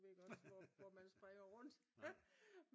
Du ved godt hvor man springer rundt